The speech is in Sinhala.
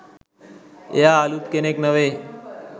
එයා අලුත් කෙනෙක් නෙවේ.